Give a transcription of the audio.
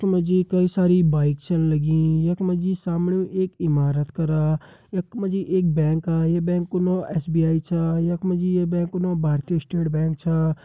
यख मा जी कई सारी बाइक छन लगीं यख मा जी सामणी एक इमारत कर यख मा जी एक बैंक का ये बैंक कू नौ एस.बी.आई छा यख मा जी ये बैंक कू नौ भारतीय स्टेट बैंक छा ।